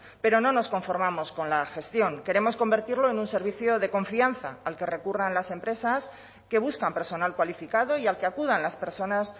pero no nos conformamos con la gestión queremos convertirlo en un servicio de confianza al que recurran las empresas que buscan personal cualificado y al que acudan las personas